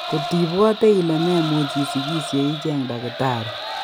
Kotibwote ile memuch isikisye icheng' takitari